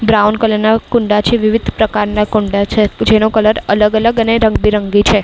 Brown colour ના કુંડા છે વિવિધ પ્રકારના કુંડા છે જેનો કલર અલગ-અલગ અને રંગબેરંગી છે.